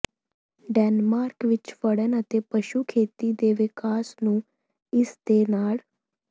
Denmark ਵਿੱਚ ਫੜਨ ਅਤੇ ਪਸ਼ੂ ਖੇਤੀ ਦੇ ਵਿਕਾਸ ਨੂੰ ਇਸ ਦੇ ਨਾਲ